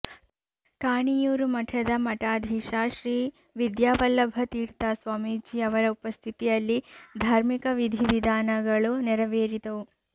ಕಾಣಿಯೂರು ಮಠದ ಮಠಾಧೀಶ ಶ್ರೀ ವಿದ್ಯಾವಲ್ಲಭ ತೀರ್ಥ ಸ್ವಾಮೀಜಿಯವರ ಉಪಸ್ಥಿತಿಯಲ್ಲಿ ಧಾರ್ಮಿಕ ವಿಧಿವಿಧಾನಗಳು ನೆರವೇರಿದವು